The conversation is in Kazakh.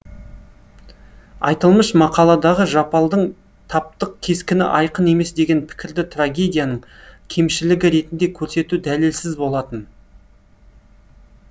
айтылмыш мақаладағы жапалдың таптық кескіні айқын емес деген пікірді трагедияның кемшілігі ретінде көрсету дәлелсіз болатын